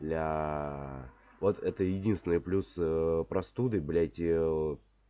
бля вот это единственный плюс простуды блять и